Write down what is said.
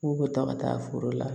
K'u bɛ taa ka taa foro la